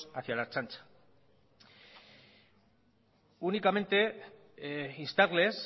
hacia la ertzaintza únicamente instarles